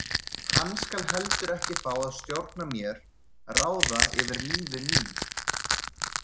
Hann skal heldur ekki fá að stjórna mér, ráða yfir lífi mínu.